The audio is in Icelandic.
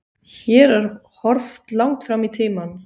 Hér er horft langt fram í tímann.